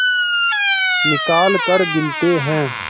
निकालकर गिनते हैं